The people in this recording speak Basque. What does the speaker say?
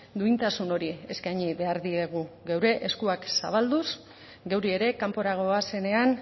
duintasun hori eskaini behar diegu geure eskuak zabalduz geuri ere kanpora goazenean